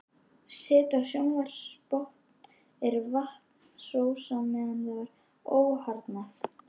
Set á sjávarbotni er vatnsósa meðan það er óharðnað.